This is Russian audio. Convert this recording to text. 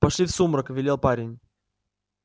пошли в сумрак велел парень